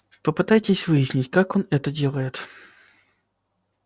попытайтесь выяснить как он это делает